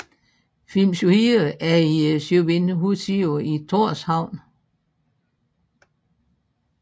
Filmshúsið er i Sjóvinnuhúsið i Tórshavn